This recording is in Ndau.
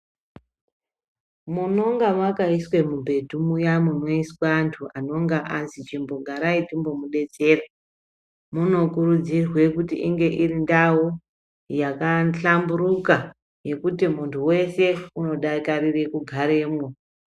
Munonge makaiswa mubhedhu munya muno iswa antu anonga azi chimbogarai timbo mubetsere. Munokurudzirwe kuti inge iri ndau yakahlamburuka yekuti muntu vese unodakarire kugaramwo.